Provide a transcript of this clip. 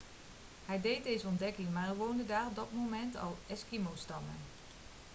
hij deed deze ontdekking maar er woonden daar op dat moment al eskimostammen